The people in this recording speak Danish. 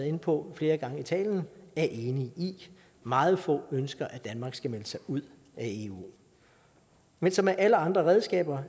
inde på flere gange i talen er enige i meget få ønsker at danmark skal melde sig ud af eu men som med alle andre redskaber